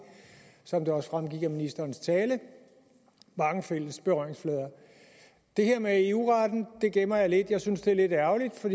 som det også fremgik af ministerens tale mange fælles berøringsflader det her med eu retten gemmer jeg lidt jeg synes det er lidt ærgerligt for